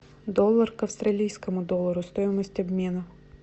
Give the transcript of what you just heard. доллар к австралийскому доллару стоимость обмена